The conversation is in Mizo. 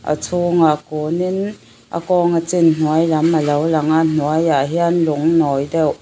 a chhûngah kûn in a kawng a chin hnuai lam alo lang a hnuaiah hian lung nawi deuh--